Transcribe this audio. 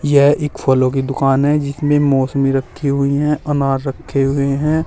यह एक फलों की दुकान है जिसमें मौसमी में रखी हुई है अनार रखे हुए हैं।